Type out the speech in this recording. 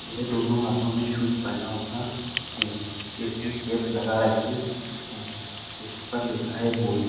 यह दोनों हाथों में शुज पहना हुआ है इसमें कैप लगा रखी है जिसपर लिखा है बॉय ।